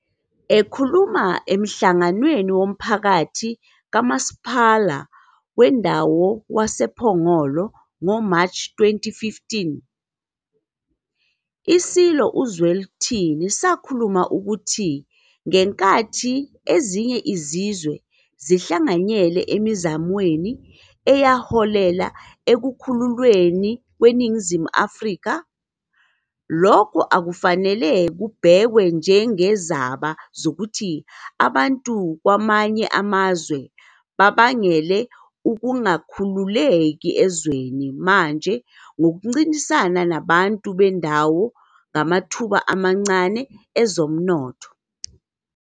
Ekhuluma emhlanganweni womphakathi kaMasipala Wendawo wayePhongolo ngoMashi 2015, iSilo uZwelithini savuma ukuthi ngenkathi ezinye izizwe zihlanganyele emizamweni eyaholela ekukhululweni kweNingizimu Afrika, lokho akufanele kubhekwe njengezaba zokuthi abantu bakwamanye amazwe babangele ukungakhululeki ezweni manje ngokuncintisana nabantu bendawo ngamathuba amancane ezomnotho.